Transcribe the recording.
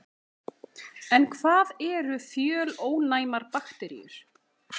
En hvað eru fjölónæmar bakteríur?